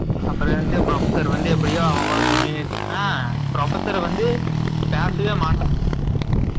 அப்பறம் வந்துட்டு professor வந்து எப்படியோ ஆ professor வந்து பேசவே மாட்டான்.